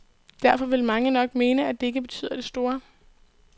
Derfor vil mange nok mene, at det ikke betyder det store.